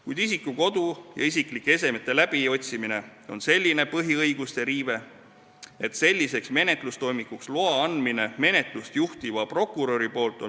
Kuid isiku kodu ja isiklike esemete läbiotsimine on selline põhiõiguste riive, et minu meelest jääb väheks, kui sellise menetlustoimingu loa annab menetlust juhtiv prokurör.